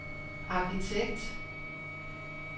arkitekt